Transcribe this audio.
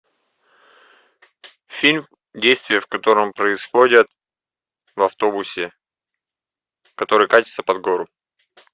фильм действия в котором происходят в автобусе который катится под гору